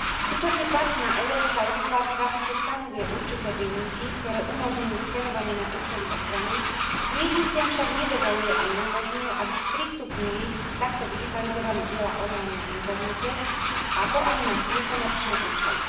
Súčasne platná európska legislatíva síce stanovuje určité výnimky, ktoré umožňujú skenovanie na účely ochrany, knižniciam však nedovoľuje a neumožňuje, aby sprístupnili takto digitalizované diela online na internete, a to ani na nekomerčné účely.